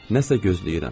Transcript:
Nəsə gözləyirəm.